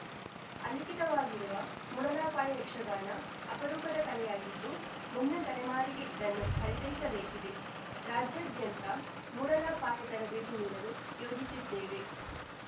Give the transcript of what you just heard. ಅಲಿಖಿತವಾಗಿರುವ ಮೂಡಲಪಾಯ ಯಕ್ಷಗಾನ ಅಪರೂಪದ ಕಲೆಯಾಗಿದ್ದು ಮುಂದಿನ ತಲೆಮಾರಿಗೆ ಇದನ್ನು ಪರಿಚಯಿಸಬೇಕಿದೆ ರಾಜ್ಯದಾದ್ಯಂತ ಮೂಡಲಪಾಯ ತರಬೇತಿ ನೀಡಲು ಯೋಜಿಸಿದ್ದೇವೆ